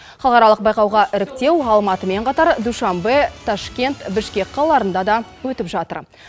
халықаралық байқауға іріктеу алматымен қатар душанбе ташкент бішкек қалаларында да өтіп жатыр